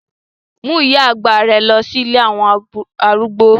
Mú ìyá àgbà rẹ lọ sí ilé àwọn arúgbó